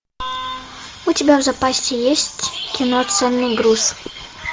у тебя в запасе есть кино ценный груз